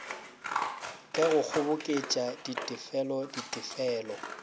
ka go kgoboketša ditefelo ditefelo